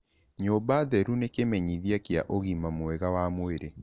Nyũmba theru nĩ kĩmenyithia kĩa ũgima mwega wa mwĩrĩ.